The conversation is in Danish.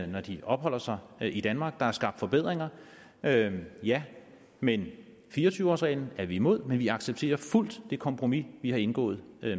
når de opholder sig i danmark der er skabt forbedringer ja ja men fire og tyve årsreglen er vi imod men vi accepterer fuldt det kompromis vi har indgået